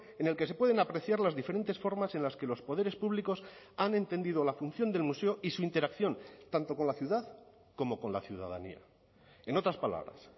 en el que se pueden apreciar las diferentes formas en las que los poderes públicos han entendido la función del museo y su interacción tanto con la ciudad como con la ciudadanía en otras palabras